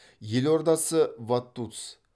елордасы вадуц